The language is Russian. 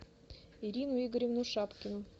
ирину игоревну шапкину